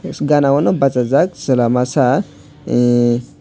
gana o nw basajak chwla masa emm.